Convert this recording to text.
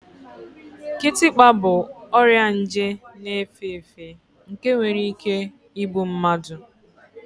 Kịtịkpa bụ ọrịa nje na-efe efe nke nwere ike igbu mmadụ